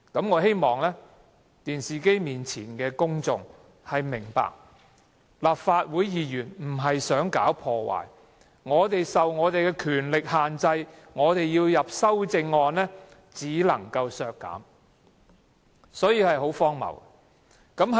我希望電視機前的公眾明白，立法會議員不是想搞破壞，我們的權力受到限制，若要提修正案只能提出削減開支，情況十分荒謬。